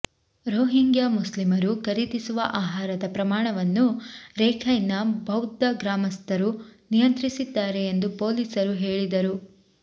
Rohingya ಮುಸ್ಲಿಮರು ಖರೀದಿಸುವ ಆಹಾರದ ಪ್ರಮಾಣವನ್ನು ರಖೈನ್ನ ಬೌದ್ಧ ಗ್ರಾಮಸ್ಥರು ನಿಯಂತ್ರಿಸಿದ್ದಾರೆ ಎಂದು ಪೊಲೀಸರು ಹೇಳಿದರು